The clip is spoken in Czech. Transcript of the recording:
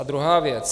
A druhá věc.